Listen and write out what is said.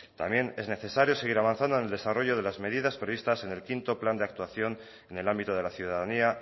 también es necesario seguir avanzando en el desarrollo de las medidas previstas en el quinto plan de actuación en el ámbito de la ciudadanía